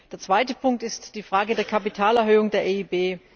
Der zweite Punkt ist die Frage der Kapitalerhöhung der EIB.